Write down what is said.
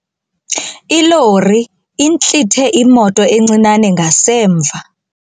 Ilori intlithe imoto encinane ngasemva.